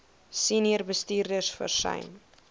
senior bestuurders versuim